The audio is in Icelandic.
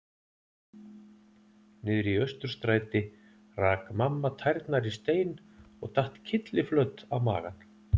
Niðri í Austurstræti rak mamma tærnar í stein og datt kylliflöt á magann.